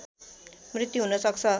मृत्यु हुन सक्छ